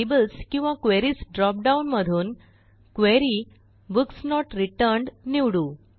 tables किंवा queries dropdown मधून Query books not returned निवडू